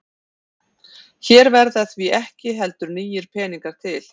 Hér verða því ekki heldur nýir peningar til.